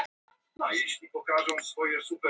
Frelsisstyttan er eitt þekktasta tákn Bandaríkjanna.